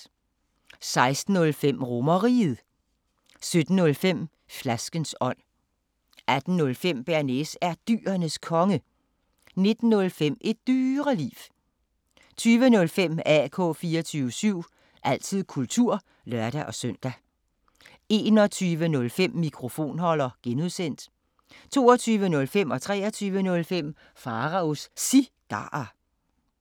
16:05: RomerRiget 17:05: Flaskens ånd 18:05: Bearnaise er Dyrenes Konge 19:05: Et Dyreliv 20:05: AK 24syv – altid kultur (lør-søn) 21:05: Mikrofonholder (G) 22:05: Pharaos Cigarer 23:05: Pharaos Cigarer